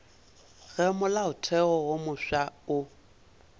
ge molaotheo wo mofsa o